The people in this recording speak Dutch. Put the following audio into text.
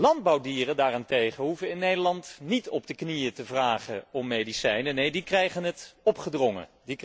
Landbouwdieren daarentegen hoeven in Nederland niet op de knieën te vragen om medicijnen, neen, die krijgen het opgedrongen.